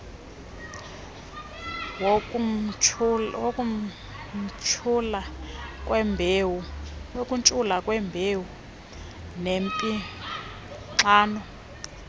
wokuntshula kwembewu yempixano